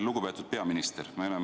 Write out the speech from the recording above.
Lugupeetud peaminister!